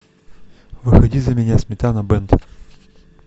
выходи за меня сметана бэнд